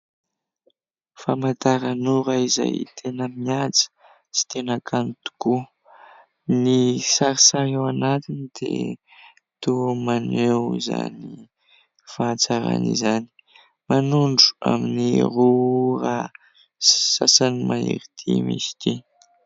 Famantarana ora izay tena mihaja sy tena kanto tokoa, ny sarisary ao anatiny dia toa maneho izany fahatsarana izany ; manondro amin'ny roa ora sy sasany mahery dimy izy ity.